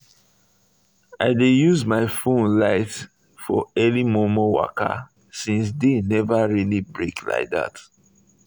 i dey use my um phone light um for early momo waka since day never really break like that